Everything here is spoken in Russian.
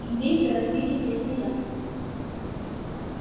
индейцы разбили здесь стоянку